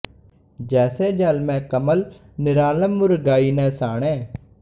ਜੈਸੇ ਜਲ ਮਹਿ ਕਮਲੁ ਨਿਰਾਲਮੁ ਮੁਰਗਾਈ ਨੈ ਸਾਣੇ